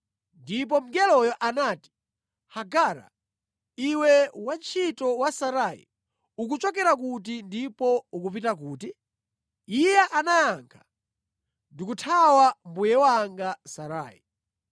Ndipo mngeloyo anati, “Hagara, iwe wantchito wa Sarai, ukuchokera kuti ndipo ukupita kuti?” Iye anayankha, “Ndikuthawa mbuye wanga Sarai.”